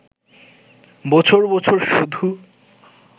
বছর বছর শুধু